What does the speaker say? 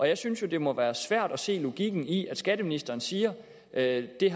jeg synes jo det må være svært at se logikken i at skatteministeren siger at det